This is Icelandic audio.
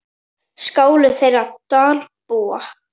Skáli þeirra Dalbúa.